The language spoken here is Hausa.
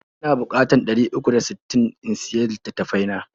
Ina bukatar ɗari uku da sittin in siya litattafai na.